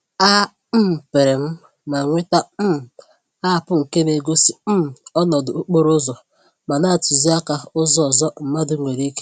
A um pịrịm ma nweta um App nke na-egosi um ọnọdụ okporo ụzọ ma na-atụzi àkà ụzọ ọzọ mmadụ nwèrè ike ịgba.